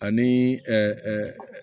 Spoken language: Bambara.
Ani